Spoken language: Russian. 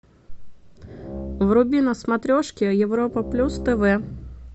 вруби на смотрешке европа плюс тв